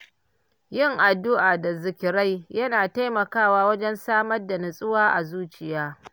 Yin addu’a da zikirai yana taimakawa wajen samar da nutsuwa a zuciya.